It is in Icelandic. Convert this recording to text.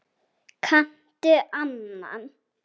Kanntu annan?